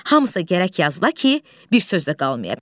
Hamısı gərək yazıla ki, bir söz də qalmaya.